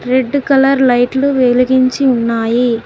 Red colour లైట్లు వెలిగించి ఉన్నాయి.